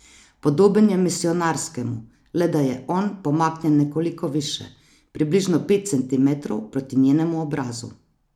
Podoben je misijonarskemu, le da je on pomaknjen nekoliko više, približno pet centimetrov proti njenemu obrazu.